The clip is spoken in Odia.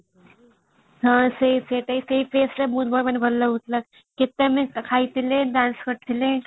ହଁ ସେଇ ସେଇ place ଟା ବହୁତ ଭଲ ମାନେ ଭଲ ଲାଗୁଥିଲା କେତେ ଆମେ ଖାଇଥିଲେ dance କରିଥିଲେ